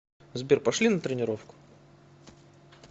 сбер пошли на тренировку